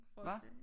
Hva